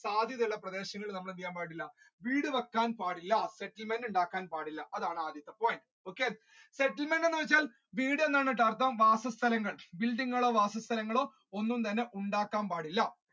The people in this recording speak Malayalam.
സാധ്യത ഉള്ള പ്രദേശങ്ങളിൽ നമ്മൾ എന്ത് ചെയ്യാൻ പാടില്ല വീട് വെക്കാൻ പാടില്ല ഉണ്ടാക്കാൻ പാടില്ല അതാണ് ആദ്യത്തെ point എന്ന് വെച്ചാൽ വീട് എന്ന് ആണ് അർഥം വാസസ്ഥലങ്ങൾ tilling ഉള്ള വാസസ്ഥലങ്ങളോ ഒന്നും തന്നെ ഉണ്ടാക്കാൻ പാടില്ല.